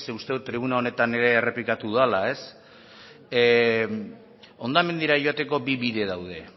uste dut tribuna honetan ere errepikatu dudala hondamendira joateko bi bide daude